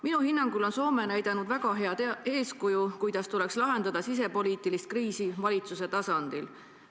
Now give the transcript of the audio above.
Minu hinnangul on Soome näidanud väga head eeskuju, kuidas tuleks lahendada sisepoliitilist kriisi valitsuse tasandil.